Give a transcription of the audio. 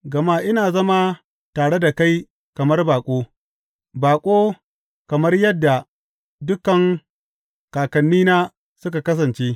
Gama ina zama tare da kai kamar baƙo, baƙo, kamar yadda dukan kakannina sun kasance.